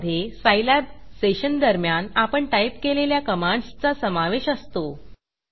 ज्यामधे Scilab session दरम्यान आपण टाईप केलेल्या कमांडसचा समावेश असतो